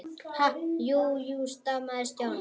Ha- jú, jú stamaði Stjáni.